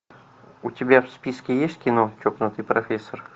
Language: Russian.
у тебя в списке есть кино чокнутый профессор